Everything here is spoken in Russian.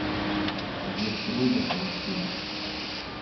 гертруда поищи